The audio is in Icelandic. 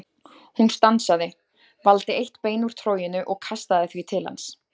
Hún stansaði, valdi eitt bein úr troginu og kastaði því til hans.